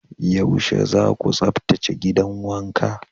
Yaushe za ku tsaftace gidan wanka?